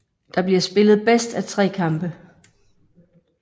Der bliver spillet bedst af tre kampe